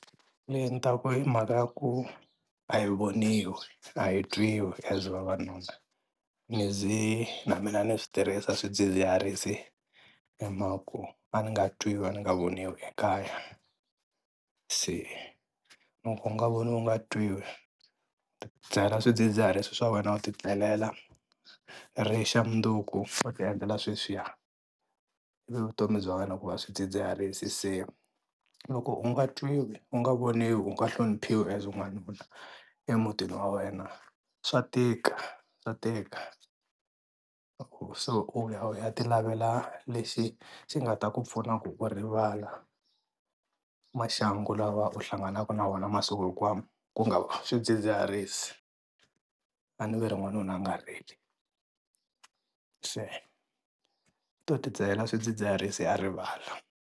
Leyi ni ta ku i mhaka yaku a yi voniwi, a hi twiwi as vavanuna. Ni ze na mina ni swi tirhisa swidzidziharisi hi mhaka ku a ni nga twini ni nga voniwi ekaya. Se loko u nga voniwi u nga twiwi u ti dzahela swidzidziharisi swa wena u ti tlelela ri xa mundzuku u ti endlela sweswiya, se vutomi bya wena ku va swidzidziharisi se loko u nga twiwi u nga voniwi u nga hloniphiwi as n'wanuna emutini wa wena swa tika swa tika. Se u ya u ya ti lavela lexi xi nga ta ku pfuna ku u rivala maxangu lawa u hlanganaka na wona masiku hinkwawo ku nga swidzidziharisi, a ni va ri n'wanuna a nga rili se i to ti dzahela swidzidziharisi a rivala.